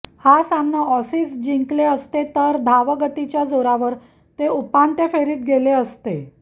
हा सामना ऑसीज जिंकले असते तर धावगतीच्या जोरावर तेच उपांत्य फेरीत गेले असते